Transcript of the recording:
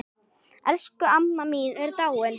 Elsku amma mín er dáin.